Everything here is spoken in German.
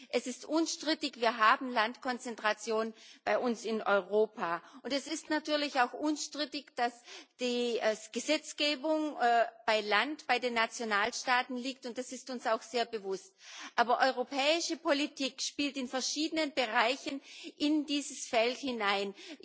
Es ist unstrittig, wir haben Landkonzentration bei uns in Europa, und es ist natürlich auch unstrittig, dass die Gesetzgebung zu Land bei den Nationalstaaten liegt, und das ist uns auch sehr bewusst. Aber europäische Politik spielt in verschiedenen Bereichen in dieses Feld hinein.